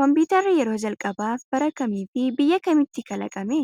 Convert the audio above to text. Kompiitarri , yeroo jalqabaaf bara kam fi biyya kamitti kalaqame